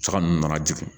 Jaka ninnu nana jigin